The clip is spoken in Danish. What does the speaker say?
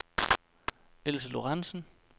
Else Lorenzen